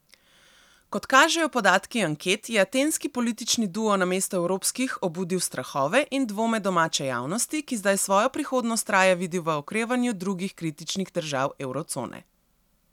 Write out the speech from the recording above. Kot kažejo podatki anket, je atenski politični duo namesto evropskih obudil strahove in dvome domače javnosti, ki zdaj svojo prihodnost raje vidi v okrevanju drugih kritičnih držav evrocone.